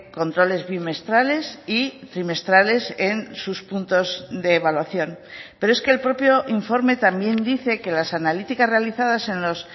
controles bimestrales y trimestrales en sus puntos de evaluación pero es que el propio informe también dice que las analíticas realizadas en los